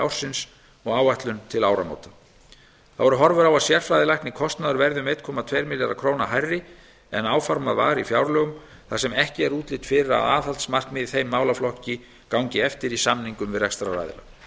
ársins og áætlun til áramóta þá eru horfur á að sérfræðilæknakostnaður verði um einn komma tveimur milljörðum króna hærri en áformað var í fjárlögum þar sem ekki er útlit fyrir að aðhaldsmarkmið í þeim málaflokki gangi eftir í samningum við rekstraraðila